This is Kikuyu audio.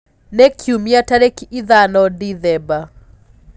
ni kĩumĩa tarĩkĩ ithano dithemba